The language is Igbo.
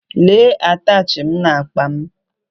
Lee atachi m n’akpa m